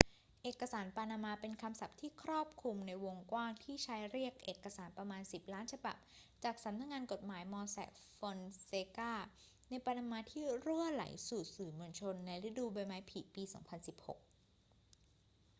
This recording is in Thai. เอกสารปานามาเป็นคำศัพท์ที่ครอบคลุมในวงกว้างที่ใช้เรียกเอกสารประมาณสิบล้านฉบับจากสำนักงานกฎหมาย mossack fonseca ในปานามาที่รั่วไหลสู่สื่อมวลชนในฤดูใบไม้ผลิปี 2016